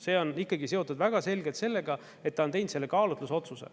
See on seotud väga selgelt sellega, et ta on teinud selle kaalutlusotsuse.